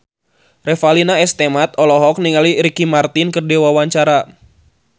Revalina S. Temat olohok ningali Ricky Martin keur diwawancara